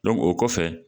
o kɔfɛ